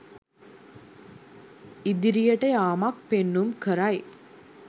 ඉදිරියට යාමක් පෙන්නුම් කරයි.